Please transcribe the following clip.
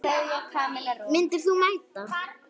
Myndir þú mæta?